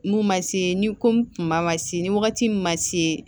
N'u ma se ni komi kuma ma se ni wagati min ma se